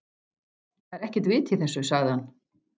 Það er ekkert vit í þessu, sagði hann.